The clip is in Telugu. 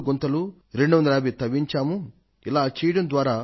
ఇలా చేయడం ద్వారా వాన నీటిని వీటిలో సేకరించేందుకు అవకాశం ఏర్పడుతుంది